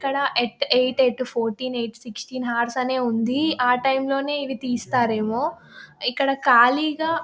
ఇక్కడ యెట్ట eight to fourteen sixteen hours ఉంది ఆ టైం లోనే ఇవి తీస్తారేమో ఇక్కడ ఖాళీగా --